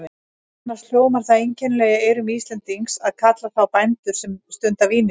Annars hljómar það einkennilega í eyrum Íslendings að kalla þá bændur sem stunda vínyrkju.